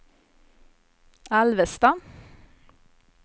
Alvesta